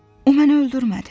O məni öldürmədi.